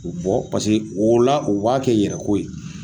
U bɔ paseke o la, u b'a kɛ yɛrɛko ye